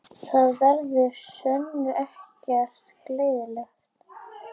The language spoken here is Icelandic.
Það verður að sönnu ekkert gleðiefni